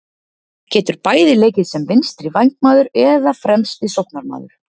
Getur bæði leikið sem vinstri vængmaður eða fremsti sóknarmaður.